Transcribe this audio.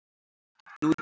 nú í dag.